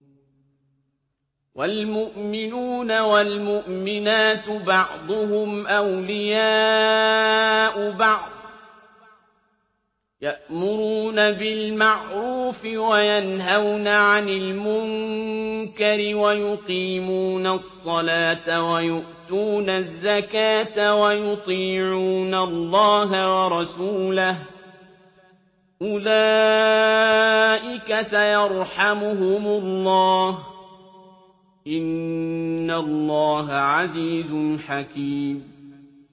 وَالْمُؤْمِنُونَ وَالْمُؤْمِنَاتُ بَعْضُهُمْ أَوْلِيَاءُ بَعْضٍ ۚ يَأْمُرُونَ بِالْمَعْرُوفِ وَيَنْهَوْنَ عَنِ الْمُنكَرِ وَيُقِيمُونَ الصَّلَاةَ وَيُؤْتُونَ الزَّكَاةَ وَيُطِيعُونَ اللَّهَ وَرَسُولَهُ ۚ أُولَٰئِكَ سَيَرْحَمُهُمُ اللَّهُ ۗ إِنَّ اللَّهَ عَزِيزٌ حَكِيمٌ